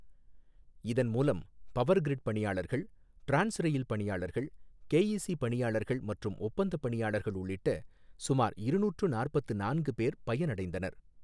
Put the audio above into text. இதன் மூலம், பவர்கிரிட் பணியாளர்கள், டிரான்ஸ்ரயில் பணியாளர்கள், கேஈசி பணியாளர்கள் மற்றும் ஒப்பந்த பணியாளர்கள் உள்ளிட்ட சுமார் இருநூற்று நாற்பத்து நான்கு பேர் பயன் அடைந்தனர்.